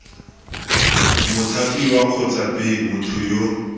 mothapiwa kgotsa b motho yo